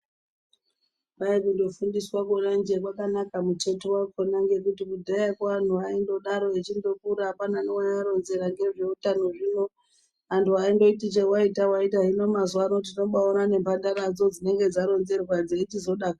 Kwai kundofundiswa kona jee kwakanaka muteto vako ngekuti kudhayako vantu vaindodaro echindokura hapana neaiaronzera ngezveutano zvino. Antu aindoti chevaita vaita hino mazuva tinobaona nemhandaradzo dzinonga dzaronzerwa dzeichizodakara.